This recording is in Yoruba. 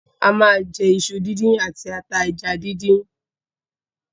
A ma jẹ iṣu díndín àti ata ẹja díndín.